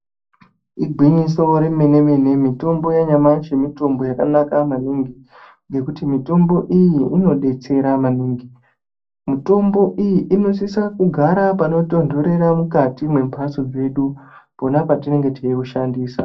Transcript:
Igwinyiso remene mene mitombo yanyamashi mitombo yakanaka maningi nekuti mitombo iyi inodetsera maningi. Mitombo iyi inosiso kugara panotonhorera mukati mwemhatso dzedu pona patinenge teiushandisa.